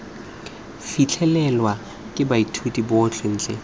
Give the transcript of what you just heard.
fitlhelelwe ke baithuti botlhe ntle